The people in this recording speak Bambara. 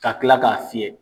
Ka kila k'a fiyɛ.